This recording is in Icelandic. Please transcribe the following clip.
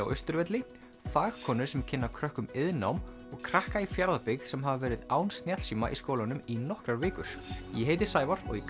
á Austurvelli fagkonur sem kynna krökkum iðnnám og krakka í Fjarðabyggð sem hafa verið án snjallsíma í skólanum í nokkrar vikur ég heiti Sævar og í